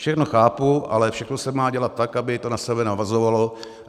Všechno chápu, ale všechno se má dělat tak, aby to na sebe navazovalo.